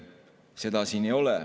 Seda siin ei ole.